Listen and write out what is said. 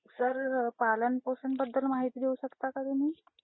Sir पालनपोषण बद्दल माहिती देऊ शकता का तुम्ही?